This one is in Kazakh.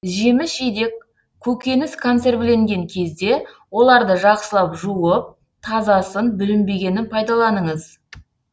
жеміс жидек көкөніс консервіленген кезде оларды жақсылап жуып тазасын бүлінбегенін пайдаланыңыз